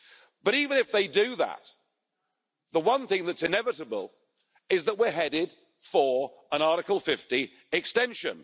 But even if they do that, the one thing that's inevitable is that we're headed for an Article 50 extension.